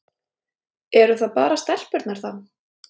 Eru það bara stelpurnar þá?